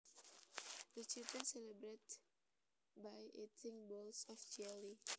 The children celebrated by eating bowls of jelly